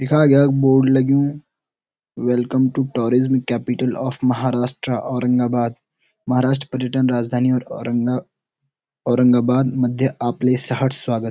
यखा यख बोर्ड लग्युं welcome to tourism capital of Maharashtra Aurangabad Maharashtra पर्यटन राजधानी औरंगा औरंगाबाद मध्य आपले सहट स्वागत।